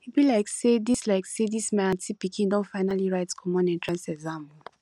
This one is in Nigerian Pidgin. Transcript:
e be like say dis like say dis my aunty pikin don finally write common entrance exam o